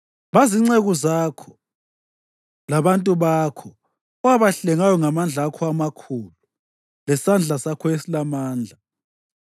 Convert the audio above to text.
Bazinceku zakho labantu bakho owabahlengayo ngamandla akho amakhulu lesandla sakho esilamandla.